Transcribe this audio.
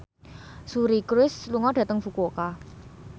Suri Cruise lunga dhateng Fukuoka